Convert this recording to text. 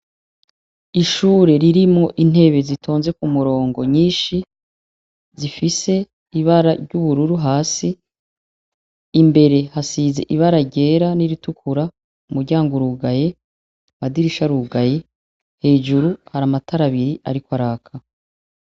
Ishure ririmwo intebe zitonze ku murongo nyinshi zifise ibara ry'ubururu hasi imbere hasize ibara ryera n'iritukura umuryango urugaye madirisha rugaye hejuru hari amatarabiri, ariko araka.